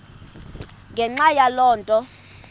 ngenxa yaloo nto